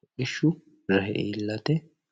hodhishu rahe iilate.